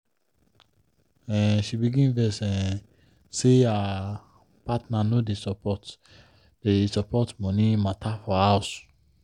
um she begin vex um say her partner no dey support dey support money matter for house.